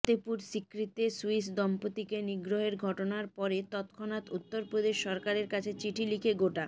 ফতেপুর সিক্রিতে সুইস দম্পতিকে নিগ্রহের ঘটনার পরে তৎক্ষণাৎ উত্তরপ্রদেশ সরকারের কাছে চিঠি লিখে গোটা